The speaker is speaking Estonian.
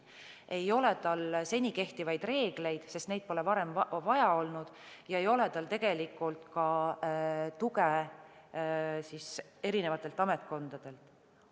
Ei ole tal seni kehtivaid reegleid, sest neid pole varem vaja olnud, ega ole tal tegelikult ka tuge eri ametkondadelt.